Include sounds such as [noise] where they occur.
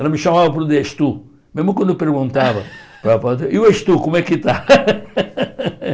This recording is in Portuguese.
Ela me chamava por de es tú, mesmo quando eu perguntava [laughs] para ela, e o es tú, como é que está? [laughs]